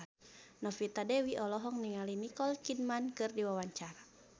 Novita Dewi olohok ningali Nicole Kidman keur diwawancara